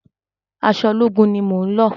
Aṣọ ológun mi ni mo ń lọ̀.